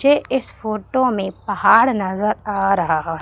ये इस फोटो में पहाड़ नजर आ रहा--